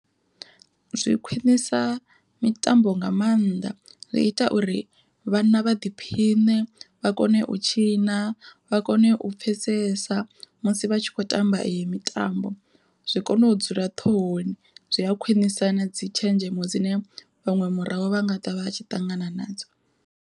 Zwi khwiṋisa mitambo nga maanḓa zwi ita uri vhana vha ḓiphiṋe vha kone u tshina vha kone u pfhesesa musi vha tshi khou tamba iyo mitambo, zwi kone u dzula ṱhohoni zwi a khwiṋisa na dzi tshenzhemo dzine vhaṅwe murahu vha nga ḓivha vhatshi ṱangana nadzo.